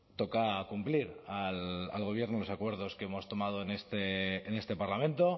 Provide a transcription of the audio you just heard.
toca cumplir al gobierno los acuerdos que hemos tomado en este parlamento